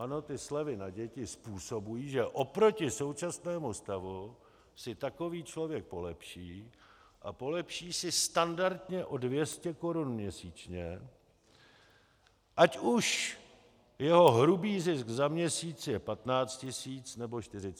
Ano, ty slevy na děti způsobují, že oproti současnému stavu si takový člověk polepší a polepší si standardně o 200 korun měsíčně, ať už jeho hrubý zisk za měsíc je 15 tisíc, nebo 40 tisíc.